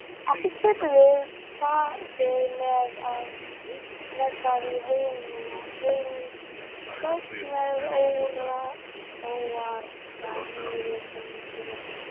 Ekki getum við farið með það í heimsókn meðan óargadýrið gengur laust.